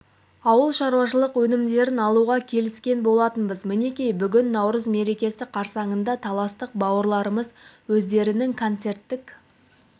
ауыл шаруашылық өнімдерін алуға келіскен болатынбыз мінекей бүгін наурыз мерекесі қарсаңында таластық бауырларымыз өздерінің коцерттік